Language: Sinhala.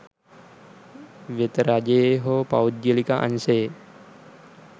වෙත රජයේ හෝ පෞද්ගලික අංශයේ